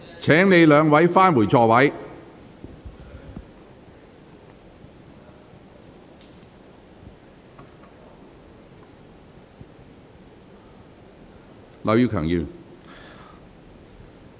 請兩位議員返回座位。